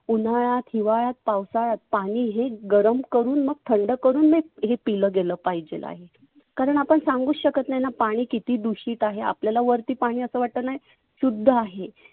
उन्हाळ्यात, हिवाळ्यात, पावसाळ्यात पाणि हे गरम करुण मग थंड करुण हे पिलं गेल पाहिजेल आहे. कारण आपण सांगुच शकत नाहीना पाणि किती दुषीत आहे. आपल्याला वरती पाणि असं वाटतं ना शुद्ध आहे.